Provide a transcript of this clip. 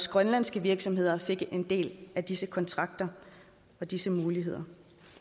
grønlandske virksomheder fik en del af disse kontrakter og disse muligheder